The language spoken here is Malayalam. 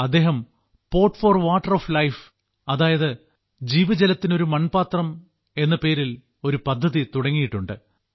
അദ്ദേഹം pot for water of life അതായത് ജീവജലത്തിന് ഒരു മൺപാത്രം എന്ന പേരിൽ ഒരു പദ്ധതി തുടങ്ങിയിട്ടുണ്ട്